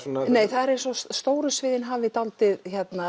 það er eins og stóru sviðin hafi dálítið